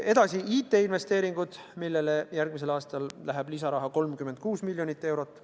Edasi tulevad IT-investeeringud, millele järgmisel aastal läheb lisaraha 36 miljonit eurot.